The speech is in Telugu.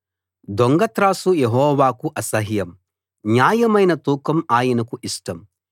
దొంగ త్రాసు యెహోవాకు అసహ్యం న్యాయమైన తూకం ఆయనకు ఇష్టం